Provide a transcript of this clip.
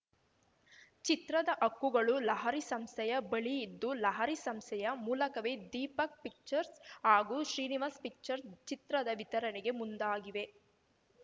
ಚಿತ್ರದ ಹಕ್ಕುಗಳು ಲಹರಿ ಸಂಸ್ಥೆಯ ಬಳಿಯಿದ್ದು ಲಹರಿ ಸಂಸ್ಥೆಯ ಮೂಲಕವೇ ದೀಪಕ್‌ ಪಿಕ್ಚರ್ಸ್‌ ಹಾಗೂ ಶ್ರೀನಿವಾಸ್‌ ಪಿಕ್ಚರ್ಸ್‌ ಚಿತ್ರದ ವಿತರಣೆಗೆ ಮುಂದಾಗಿವೆ